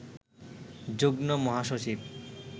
যুগ্ম মহাসচিব